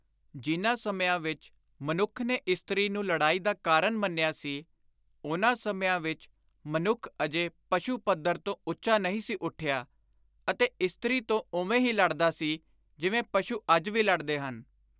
ਜਿਨ੍ਹਾਂ ਸਮਿਆਂ ਵਿਚ ਮਨੁੱਖ ਨੇ ਇਸਤ੍ਰੀ ਨੂੰ ਲੜਾਈ ਦਾ ਕਾਰਨ ਮੰਨਿਆ ਸੀ, ਉਨ੍ਹਾਂ ਸਮਿਆਂ ਵਿਚ ਮਨੁੱਖ ਅਜੇ ਪਸ਼ੁ-ਪੱਧਰ ਤੋਂ ਉੱਚਾ ਨਹੀਂ ਸੀ ਉੱਠਿਆ ਅਤੇ ਇਸਤ੍ਰੀ ਤੋਂ ਉਵੇਂ ਹੀ ਲੜਦਾ ਸੀ ਜਿਵੇਂ ਪਸ਼ੁ ਅੱਜ ਵੀ ਲੜਦੇ ਹਨ।